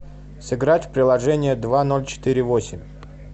сыграть в приложение два ноль четыре восемь